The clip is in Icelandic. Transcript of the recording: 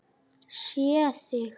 Sé þig.